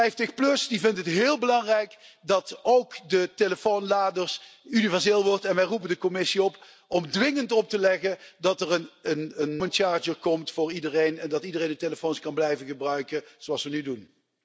50PLUS vindt het heel belangrijk dat ook de telefoonladers universeel worden en wij roepen de Commissie op om dwingend op te leggen dat er een common charger komt voor iedereen en dat iedereen die telefoons kan blijven gebruiken zoals we nu doen.